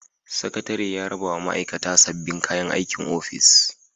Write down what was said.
Sakatare ya raba wa ma'aikata sabbin kayan aikin ofis.